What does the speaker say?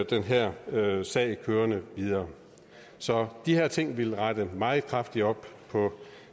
den her sag kørende videre så de her ting ville rette meget kraftigt op på